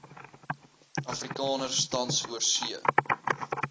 afrikaners tans oorsee